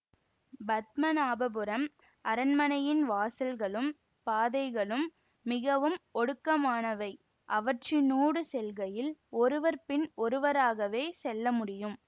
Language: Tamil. பத்மநாபபுரம் அரண்மனையின் வாசல்களும் பாதைகளும் மிகவும் ஒடுக்கமானவை அவற்றினூடு செல்கையில் ஒருவர் பின் ஒருவராகவே செல்லமுடியும்